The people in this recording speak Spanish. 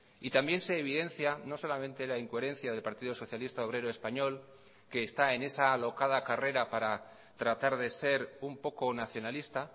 y también se evidencia no solamente la incoherencia del partido socialista obrero español que está en esa alocada carrera para tratar de ser un poco nacionalista